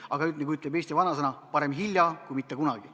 Aga nagu ütleb eesti vanasõna: parem hilja kui mitte kunagi.